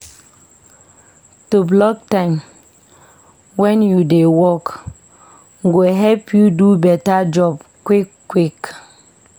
To block time wen you dey work go help you do beta job quick-quick.